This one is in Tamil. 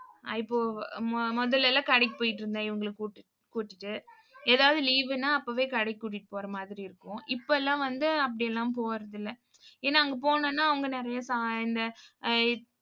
ஆஹ் இப்போ மு~ முதல்ல எல்லாம் கடைக்கு போயிட்டிருந்தேன் இவங்களை கூட்டு~ கூட்டிட்டு. ஏதாவது leave ன்னா அப்பவே கடைக்கு கூட்டிட்டு போற மாதிரி இருக்கும். இப்ப எல்லாம் வந்து அப்படி எல்லாம் போறதில்லை. ஏன்னா அங்க போனோம்னா அவங்க நிறைய ச~ இந்த அஹ்